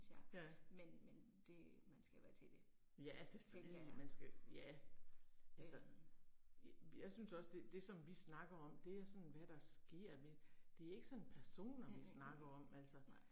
Ja. Ja selvfølgelig man skal, ja, altså. Jeg synes også det det som vi snakker om det er sådan hvad der sker, men det er ikke sådan personer vi snakker om altså